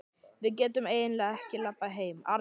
Við getum eiginlega ekki labbað heim, Arnar.